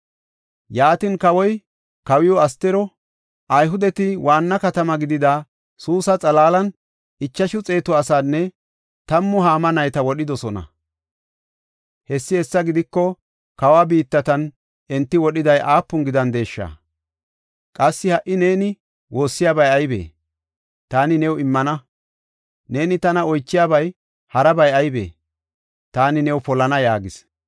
Yaatin, kawoy kawiw Astiro, “Ayhudeti waanna katama gidida Suusa xalaalan ichashu xeetu asaanne tammu Haama nayta wodhidosona. Hessi hessa gidiko, kawa biittatan enti wodhiday aapuna gidandesha! Qassi ha77i neeni woossiyabay aybee? Taani new immana. Neeni tana oychiyabay harabay aybee? Taani new polana” yaagis.